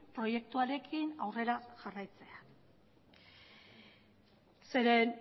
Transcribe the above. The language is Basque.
proiektuarekin aurrera jarraitzea zeren